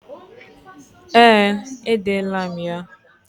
Ee, edela m ya.